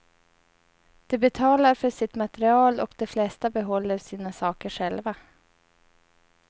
De betalar för sitt material och de flesta behåller sina saker själva.